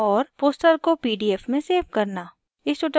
* poster को pdf में save करना